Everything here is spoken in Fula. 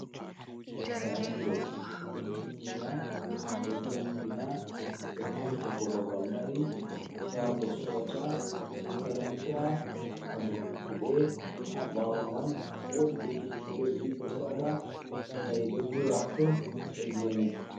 Signboard: Ɗo tindina, ɗo jangina, ɗo limta ko babal mari, shago sorata, makaranta, babe kuɗe. Ha ɓawo man wodi kekeji napep ɗiɗi ɗo sala, na'i ɗo dura ha tooh ha gene.